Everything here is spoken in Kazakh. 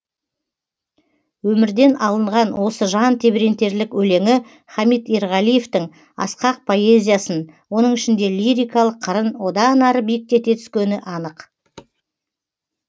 өмірден алынған осы жан тебірентерлік өлеңі хамит ерғалиевтің асқақ поэзиясын оның ішінде лирикалық қырын одан ары биіктете түскені анық